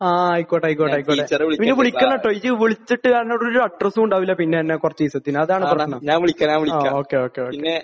ആഹ്. ആഹ്. ആയിക്കോട്ടെ. ആയിക്കോട്ടെ. ആയിക്കോട്ടെ. പിന്നെ വിളിക്കണം കേട്ടോ. നീ വിളിച്ചിട്ട് നിന്നോട് ഒരു അഡ്രസ്സും ഉണ്ടാവില്ല പിന്നെ നിന്റെ കുറച്ച് ദിവസത്തേക്ക്. അതാണ്. ആഹ്. ഓക്കേ. ഓക്കേ. ഓക്കേ.